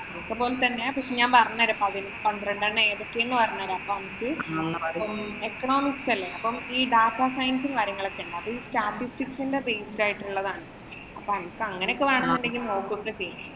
അതുപോലെ തന്നെ പക്ഷെ ഞാന്‍ പറഞ്ഞ തരാം. പതിനൊ പന്ത്രണ്ടു എണ്ണം ഏതൊക്കെ എന്ന് പറഞ്ഞുതരാം. economics അല്ലേ. ഈ data science ഉം, കാര്യങ്ങളുമൊക്കെ ഉണ്ട്. അപ്പൊ ഈ based ആയിട്ടുള്ളതാണ്. അപ്പൊ അനക്ക്‌ അങ്ങനെയൊക്കെ വേണമെങ്കി നോക്കുക ഒക്കെ ചെയ്യ്.